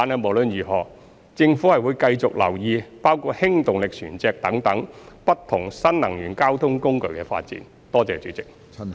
無論如何，政府會繼續留意包括氫動力船隻等不同新能源交通工具的發展。